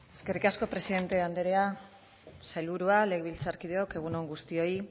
eskerrik asko presidente andrea sailburua legebiltzarkideok egun on guztioi